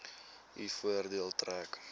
u voordeel trek